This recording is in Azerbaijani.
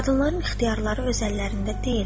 Qadınların ixtiyarları öz əllərində deyil.